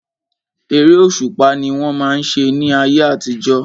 Eré òṣùpá ni wọ́n máa ń ṣe ní ayé àtijọ́.